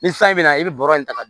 Ni san bɛ na i bɛ bɔrɔ in ta ka don